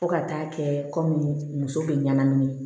Fo ka taa kɛ kɔmi muso bɛ ɲanamini